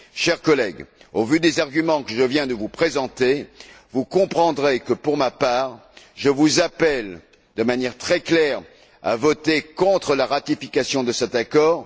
Chers collègues, au vu des arguments que je viens de vous présenter, vous comprendrez que, pour ma part, je vous appelle de manière très claire à voter contre la ratification de cet accord.